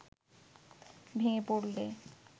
ভেঙে পড়লে